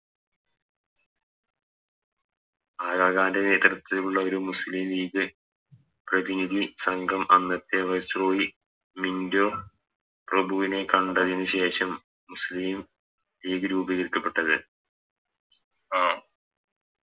അടുത്ത്‌ ഉള്ളൊരു മുസ്ലിം ലീഗ് പ്രതിനിധി സംഘം അന്നത്തെ Viceroy മിന്റോ പ്രഭുവിനെ കണ്ടതിനു ശേഷം മുസ്ലിം ലീഗ് രൂപീകരിക്കപ്പെട്ടത് അഹ്